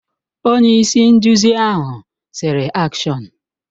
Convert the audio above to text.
Onye-isi-nduzi ahụ sịrị, AKSHỌN!